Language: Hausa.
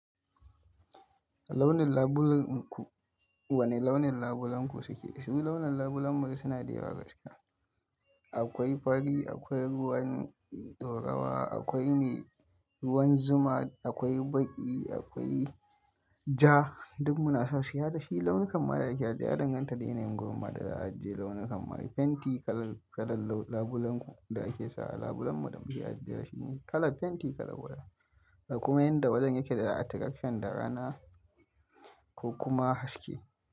Launin labulenku, wane launin labulenku suke dashi? Mu launin labulenmu suna da yawa gaske. Akwai fari, akwai ruwan ɗorawa, akwai me ruwan zuma, akwai baƙi, akwai ja duk muna sa shi. Har dashi launin kaman da yake a da ya danganta da yanayin gurin ma da za a ajiye launin kamar fenti kalar, kalar laun labulenku da ake sa a labulenmu da muke ajiye da shi ne kalar fenti kalar waje da kuma yanda wajen yake da attraction da rana ko kuma haske.